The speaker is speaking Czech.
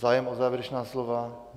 Zájem o závěrečná slova?